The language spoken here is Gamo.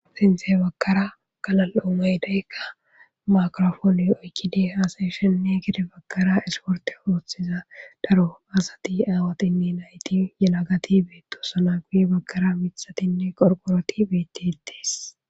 sintehe bagara kalal7omay deykka makirofooni oykkide haasyeshenne gede bagkara esporte ooththiza daro aasati aawatinne nayiti yelagati beetto sana guye bagkara mithatinne qorqoroti beti itis